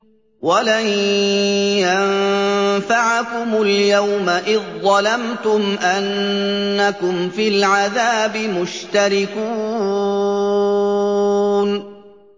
وَلَن يَنفَعَكُمُ الْيَوْمَ إِذ ظَّلَمْتُمْ أَنَّكُمْ فِي الْعَذَابِ مُشْتَرِكُونَ